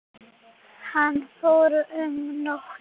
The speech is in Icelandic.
Hann fór um nótt.